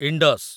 Indus